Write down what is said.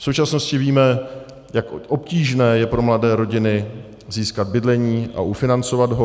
V současnosti víme, jak obtížné je pro mladé rodiny získat bydlení a ufinancovat ho.